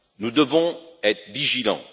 nous devons être vigilants.